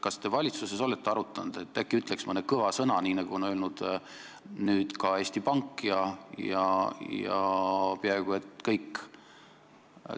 Kas te valitsuses olete arutanud, et äkki ütleks mõne kõva sõna, nagu on öelnud ka Eesti Pank ja paljud muud?